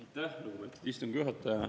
Aitäh, lugupeetud istungi juhataja!